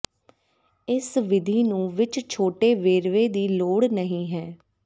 ਇਸ ਵਿਧੀ ਨੂੰ ਵਿੱਚ ਛੋਟੇ ਵੇਰਵੇ ਦੀ ਲੋੜ ਨਹੀ ਹੈ